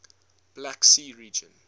black sea region